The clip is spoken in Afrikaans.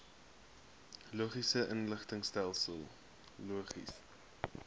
logistiese inligtingstelsel logis